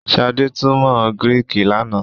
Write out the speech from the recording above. Shade túmọ Griiki lànà.